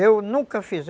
Eu nunca fiz.